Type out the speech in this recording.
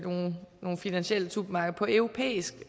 nogle finansielle supermarkeder på europæisk